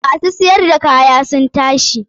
Ma su siyar da kaya sun tashi.